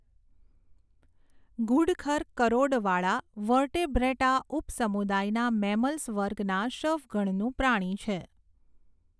ઘુડખર કરોડવાળાં વર્ટેબ્રેટા ઉપસમુદાયના મેમલ્સ વર્ગના શફગણનું પ્રાણી છે.